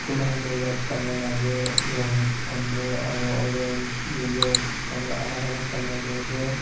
Khu manhe tu red colour lase novels khan tu aro orange yellow colour alak alak colour tey ase.